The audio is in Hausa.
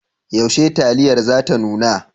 Yaushe taliyar za ta nuna?